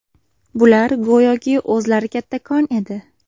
Bular go‘yoki o‘zlari kattakon edi.